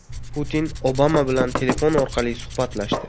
Putin Obama bilan telefon orqali suhbatlashdi.